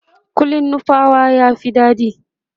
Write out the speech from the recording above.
kullin nupawa ya Fi daɗi